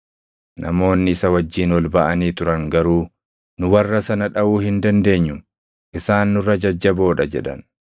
Namoonni isa wajjin ol baʼanii turan garuu, “Nu warra sana dhaʼuu hin dandeenyu; isaan nurra jajjaboo dha” jedhan.